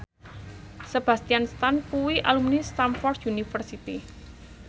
Sebastian Stan kuwi alumni Stamford University